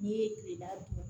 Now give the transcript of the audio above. N'i ye kilela dun